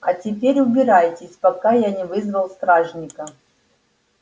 а теперь убирайтесь пока я не вызвал стражника